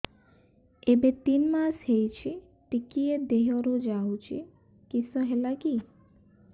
ଏବେ ତିନ୍ ମାସ ହେଇଛି ଟିକିଏ ଦିହରୁ ଯାଉଛି କିଶ ହେଲାକି